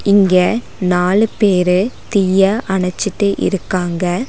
இங்க நாலு பேரு தீய அணச்சுட்டு இருக்காங்க.